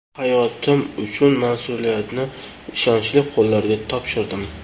Hayotim uchun mas’uliyatni ishonchli qo‘llarga topshirdim”.